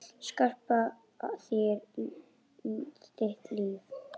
Skapa þér þitt líf.